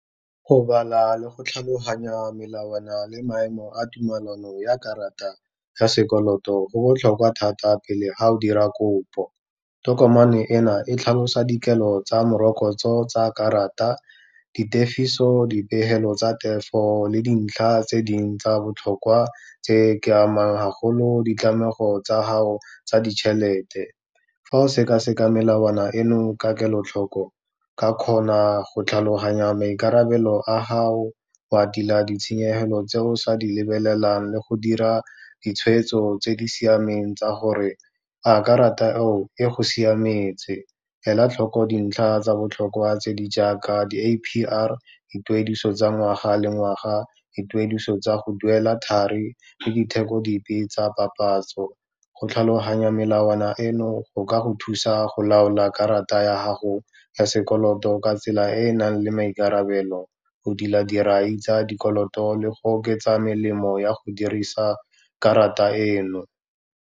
Go bala le go tlhaloganya melawana le maemo a tumelano ya karata ya sekoloto, go botlhokwa thata pele ga o dira kopo, tokomane ena e tlhalosa dikelo tsa morokotso tsa karata, ditefiso, dipegelo tsa tefo le dintlha tse ding tsa botlhokwa tse di amang ga golo ditlamego tsa gago tsa ditšhelete. Fa o sekaseka melawana eno ka kelotlhoko, ka kgona go tlhaloganya maikarabelo a gago o a tila ditshenyegelo tse o sa di lebelelang, le go dira ditshwetso tse di siameng tsa gore a karata eo e go siametse. Ela tlhoko dintlha tsa botlhokwa tse di jaaka di-A_P_R, dituediso tsa ngwaga le ngwaga, dituediso tsa go duela thari le ditheko dipe tsa papatso. Go tlhaloganya melawana eno go ka go thusa go laola karata ya gago ya sekoloto ka tsela e e nang le maikarabelo, go dira dirai tsa dikoloto le go oketsa melemo ya go dirisa karata eno.